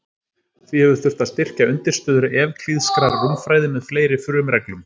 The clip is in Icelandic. Því hefur þurft að styrkja undirstöður evklíðskrar rúmfræði með fleiri frumreglum.